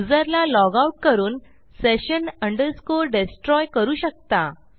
युजरला log out करून session destroy करू शकता